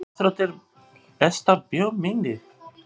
Íþróttir Besta bíómyndin?